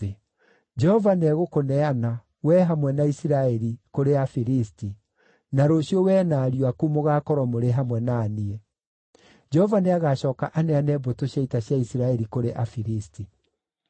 Jehova nĩegũkũneana, wee hamwe na Isiraeli, kũrĩ Afilisti, na rũciũ wee na ariũ aku mũgaakorwo mũrĩ hamwe na niĩ. Jehova nĩagacooka aneane mbũtũ cia ita cia Isiraeli kũrĩ Afilisti.”